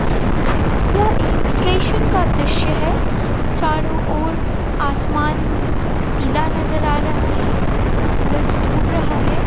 यह एक स्टेशन का द्रश्य है चारो और आसमान पिला नजर आ रहा है सूरज डूब रहा है।